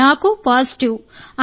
నేను పాజిటివ్గా ఉన్నాను